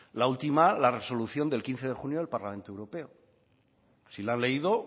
la última la resolución del quince de junio de parlamento europeo si la han leído